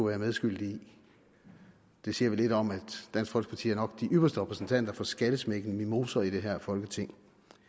været medskyldig i det siger vel lidt om at dansk folkeparti nok de ypperste repræsentanter for skallesmækkende mimoser i det her folketing